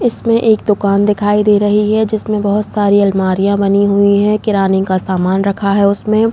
इसमे एक दुकान दिखाई दे रही है जिसमें बहुत सारी अल्मारिया बनी हुई है किराने का समान रखा है उसमें।